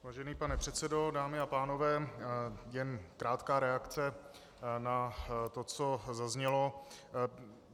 Vážený pane předsedo, dámy a pánové, jen krátká reakce na to, co zaznělo.